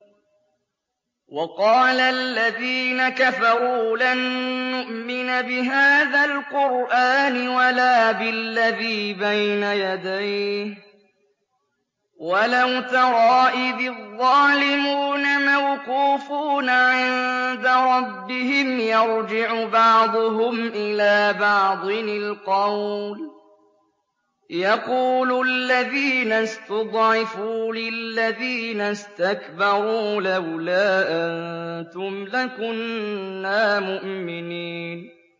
وَقَالَ الَّذِينَ كَفَرُوا لَن نُّؤْمِنَ بِهَٰذَا الْقُرْآنِ وَلَا بِالَّذِي بَيْنَ يَدَيْهِ ۗ وَلَوْ تَرَىٰ إِذِ الظَّالِمُونَ مَوْقُوفُونَ عِندَ رَبِّهِمْ يَرْجِعُ بَعْضُهُمْ إِلَىٰ بَعْضٍ الْقَوْلَ يَقُولُ الَّذِينَ اسْتُضْعِفُوا لِلَّذِينَ اسْتَكْبَرُوا لَوْلَا أَنتُمْ لَكُنَّا مُؤْمِنِينَ